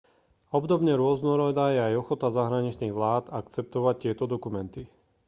obdobne rôznorodá je aj ochota zahraničných vlád akceptovať tieto dokumenty